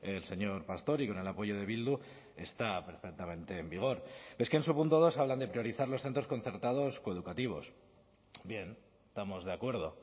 el señor pastor y con el apoyo de bildu está perfectamente en vigor es que en su punto dos hablan de priorizar los centros concertados coeducativos bien estamos de acuerdo